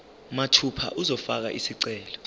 mathupha uzofaka isicelo